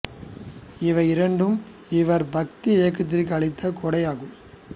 இவை இரண்டும் இவா் பக்தி இயக்கத்திற்கு அளித்த கொடை ஆகும்